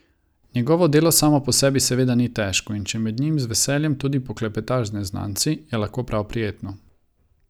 Njegovo delo samo po sebi seveda ni težko, in če med njim z veseljem tudi poklepetaš z neznanci, je lahko prav prijetno.